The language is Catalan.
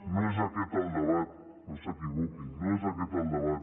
no és aquest el debat no s’equivoquin no és aquest el debat